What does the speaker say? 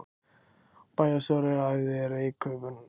Bæjarstjóri æfði reykköfun